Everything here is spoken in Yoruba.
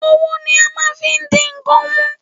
Owó ni a máa n fi n di ń kan mú